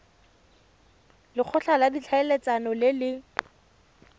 lekgotla la ditlhaeletsano le le